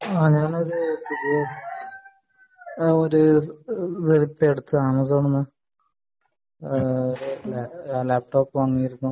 ആഹ് ഞാനൊരു ഇത് എടുത്തതാണ് വാങ്ങിയിരുന്നു